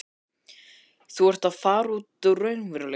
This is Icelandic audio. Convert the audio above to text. Þú ert að fara út úr raunveruleikanum.